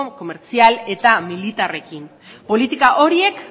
komertzial eta militarrekin politika horiek